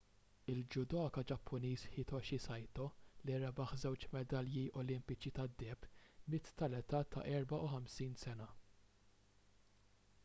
il-judoka ġappuniż hitoshi saito li rebaħ żewġ medalji olimpiċi tad-deheb miet tal-età ta' 54 sena